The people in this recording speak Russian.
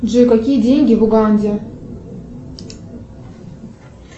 джой какие деньги в уганде